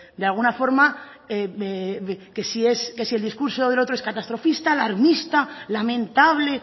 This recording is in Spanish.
de alguna forma que si el discurso del otro es catastrofista alarmista lamentable